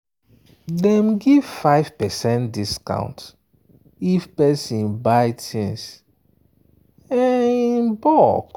dem give 5 percent discount if person buy things in bulk.